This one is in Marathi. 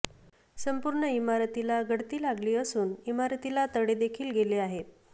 संपूर्ण इमारतीला गळती लागली असून इमारतीला तडे देखील गेले आहेत